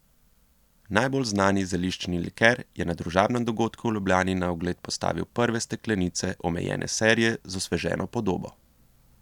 Najbolj znani zeliščni liker je na družabnem dogodku v Ljubljani na ogled postavil prve steklenice omejene serije z osveženo podobo.